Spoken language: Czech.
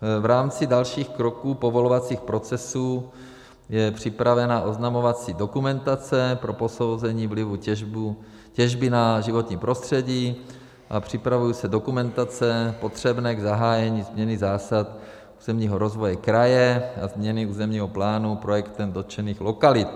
V rámci dalších kroků povolovacích procesů je připravena oznamovací dokumentace pro posouzení vlivu těžby na životní prostředí a připravují se dokumentace potřebné k zahájení změny zásad územního rozvoje kraje a změny územního plánu projektem dotčených lokalit.